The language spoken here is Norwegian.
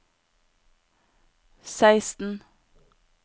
seksten